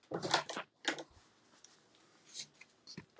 Og þannig heldur stríðsdansinn áfram.